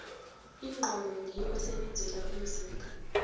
inqonde ngiyo esebenzela umzimba